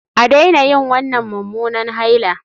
A daina yin wannan mummunan haila